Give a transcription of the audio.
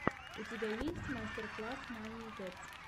запусти последний выпуск лорда вево